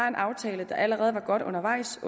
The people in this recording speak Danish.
en aftale der allerede var godt undervejs